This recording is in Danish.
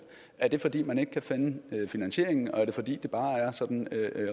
er det fordi man ikke kan finde finansieringen og er det fordi det bare er sådan